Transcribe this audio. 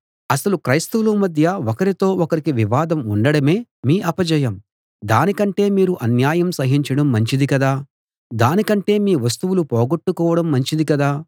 అసలు క్రైస్తవుల మధ్య ఒకరితో ఒకరికి వివాదం ఉండడమే మీ అపజయం దాని కంటే మీరు అన్యాయం సహించడం మంచిది కదా దానికంటే మీ వస్తువులు పోగొట్టుకోవడం మంచిది కదా